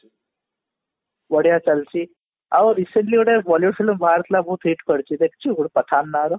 ବଢିଆ ଚାଲିଛି ଆଉ recently ଗୋଟେ Bollywood film ବାହାରିଥିଲା ବହୁତ heat କରିଛି ଦେଖିଛୁ pathan ନାଁରେ